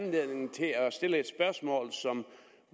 anledning til at stille et spørgsmål som